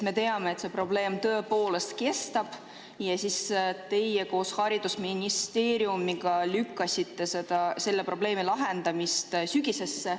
Me teame, et see probleem tõepoolest kestab ja teie koos haridusministeeriumiga lükkasite selle probleemi lahendamise sügisesse.